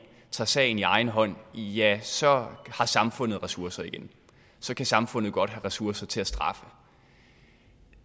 tager sagen i egen hånd ja så har samfundet ressourcer igen så kan samfundet godt have ressourcer til at straffe